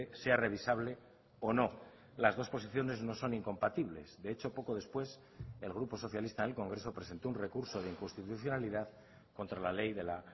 sea revisable o no las dos posiciones no son incompatibles de hecho poco después el grupo socialista en el congreso presentó un recursode inconstitucionalidad contra la ley de la